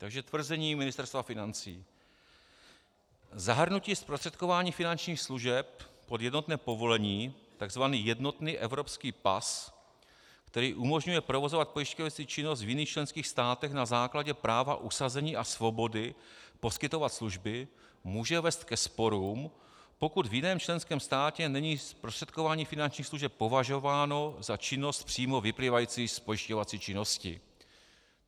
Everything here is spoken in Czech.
- Takže tvrzení Ministerstva financí: Zahrnutí zprostředkování finančních služeb pod jednotné povolení, tzv. jednotný evropský pas, který umožňuje provozovat pojišťovací činnost v jiných členských státech na základě práva usazení a svobody poskytovat služby, může vést ke sporům, pokud v jiném členském státě není zprostředkování finančních služeb považováno za činnost přímo vyplývající z pojišťovací činnosti.